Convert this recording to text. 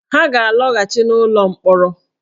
Ha ga-alọghachi n’ụlọ mkpọrọ